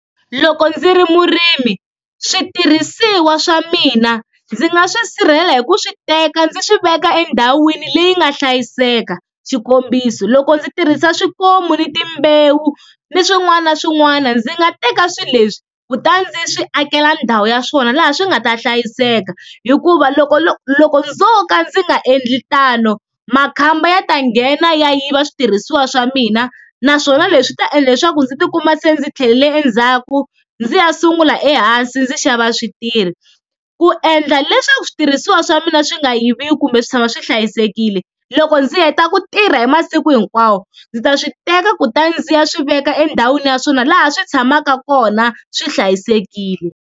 Loko ndzi ri murimi switirhisiwa swa mina ndzi nga swi sirhelela hi ku swi teka ndzi swi veka endhawini leyi nga hlayiseka, xikombiso loko ndzi tirhisa swikomu ni timbewu ni swin'wana na swin'wana ndzi nga teka swilo leswi kutani ndzi swi akela ndhawu ya swona laha swi nga ta hlayiseka hikuva loko loko ndzo ka ndzi nga endli tano makhamba ya ta nghena ya yiva switirhisiwa swa mina naswona leswi ta endla leswaku ndzi tikuma se ndzi tlhelele endzhaku ndzi ya sungula ehansi ndzi xava switirhi, ku endla leswaku switirhisiwa swa mina swi nga yiviwi kumbe swi tshama swi hlayisekile, loko ndzi heta ku tirha hi masiku hinkwawo ndzi ta swi teka kuta ndzi ya swi veka endhawini ya swona laha swi tshamaka kona swi hlayisekile.